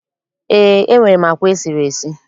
Eé, enwere m àkwá e siri esi.